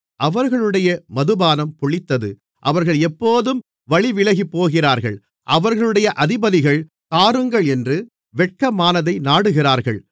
அவர்களுடைய மதுபானம் புளித்தது அவர்கள் எப்போதும் வழிவிலகிப்போகிறார்கள் அவர்களுடைய அதிபதிகள் தாருங்களென்று வெட்கமானதை நாடுகிறார்கள்